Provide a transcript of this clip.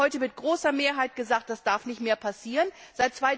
Wir haben heute mit großer Mehrheit gesagt, dass das nicht mehr passieren darf.